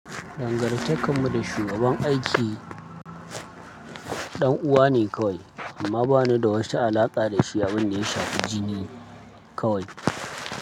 Dangantakar mu da shugaban aiki ɗan'uwa ne kawai amma bana da wata alaƙa da shi abin da ya shafi jini kawai.